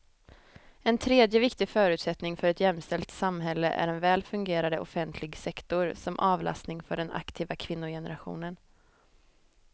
En tredje viktig förutsättning för ett jämställt samhälle är en väl fungerande offentlig sektor som avlastning för den aktiva kvinnogenerationen.